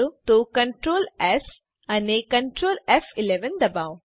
તો Ctrl S અને Ctrl ફ11 દબાવો